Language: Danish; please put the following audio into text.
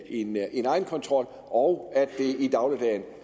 en egenkontrol og